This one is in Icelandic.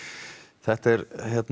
þetta er